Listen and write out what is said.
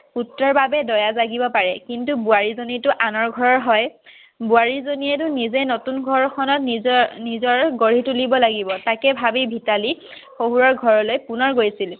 পুত্ৰৰ বাবে দয়া জাগিব পাৰে। কিন্তু বোৱাৰীজনীতো আনৰ ঘৰৰ হয় বোৱাৰী জনীতো নিজে নতুন ঘৰ খনত নিজৰ গঢ়ি তুলিব লাগিব। তাকে ভাবি মিতালী শশুৰৰ ঘৰলৈ পুনৰ গৈছিল